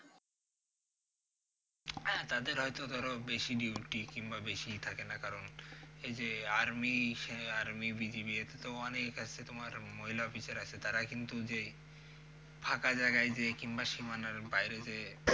হ্যা তাদের হয়তো ধরো বেশি duty কিংবা বেশি ইয়ে থাকে না কারণ, যে army সে army BGB এর তো অনেক আছে তোমার মহিলা অফিসার আছে তারা কিন্তু যে ফাঁকা জায়গায় যেয়ে কিংবা সীমানার বাইরে যেয়ে